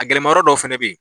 A gɛlɛmayɔrɔ dɔ fɛnɛ be yen